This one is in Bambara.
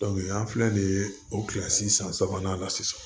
an filɛ de o kilasi san sabanan na sisan